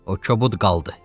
O kobud qaldı.